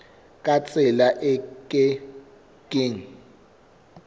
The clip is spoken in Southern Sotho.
ka tsela e ke keng